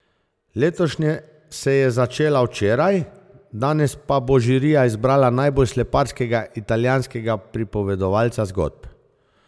Letošnje se je začela včeraj, danes pa bo žirija izbrala najbolj sleparskega italijanskega pripovedovalca zgodb.